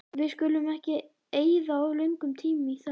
Við skulum ekki eyða of löngum tíma í þögn.